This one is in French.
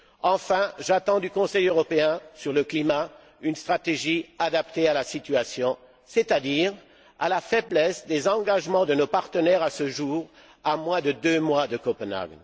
Enfin, j'attends du Conseil européen, sur le climat, une stratégie adaptée à la situation, c'est à dire à la faiblesse des engagements de nos partenaires à ce jour, à moins de deux mois de Copenhague.